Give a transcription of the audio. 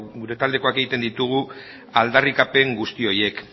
gure taldekoak egiten ditugu aldarrikapen guzti horiek